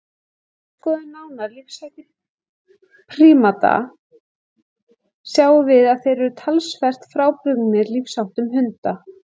Ef við skoðum nánar lífshætti prímata sjáum við að þeir eru talsvert frábrugðnir lífsháttum hunda.